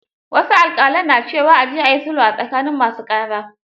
Wasu alƙalan na cewa; a je a yi sulhu a tsakanin masu ƙara.